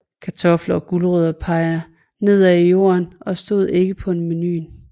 Kartofler og gulerødder peger nedad i jorden og stod ikke på menuen